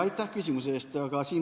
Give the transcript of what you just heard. Aitäh küsimuse eest!